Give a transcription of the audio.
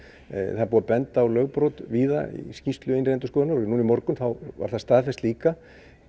það er búið að benda á lögbrot víða í skýrslu innri endurskoðunar og núna í morgun þá var það staðfest líka